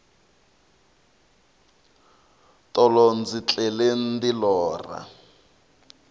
tolo ndzi tlele ndi lorha